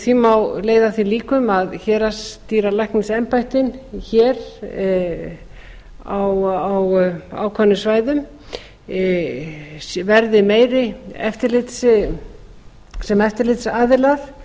því má leiða að því líkum að héraðsdýralæknisembættin hér á ákveðnum svæðum verði meira sem eftirlitsaðilar